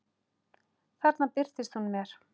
Þarna birtist hún mér.